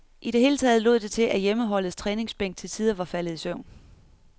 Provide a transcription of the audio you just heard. I det hele taget lod det til, at hjemmeholdets træningsbænk til tider var faldet i søvn.